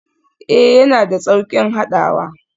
Ee, yana da sauƙin haɗawa.